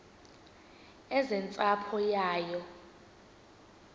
eze nentsapho yayo